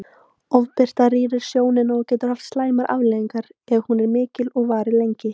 Ofbirta rýrir sjónina og getur haft slæmar afleiðingar er hún er mikil og varir lengi.